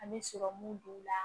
An bɛ sɔrɔmu don u la